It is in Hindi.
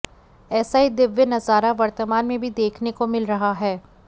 ऐसा ही दिव्य नज़ारा वर्तमान में भी देखने को मिल रहा है